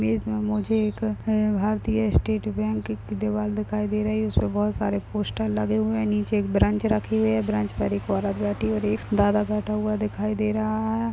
Image में मुझे एक अ-भारतीय स्टेट बैंक की दीवाल दिखाई दे रही है उसपे बहोत सारे पोस्टर लगे हुए हैं नीचे एक ब्रांच रखी हुई है ब्रांच पर एक औरत बैठी हुई है और एक दादा बैठा हुआ है दिखाई दे रहा है।